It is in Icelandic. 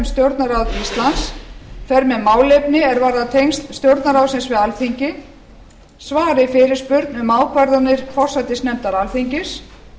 stjórnarráð íslands fer með málefni er varða tengsl stjórnarráðsins við alþingi svari fyrirspurn um ákvarðanir forsætisnefndar alþingis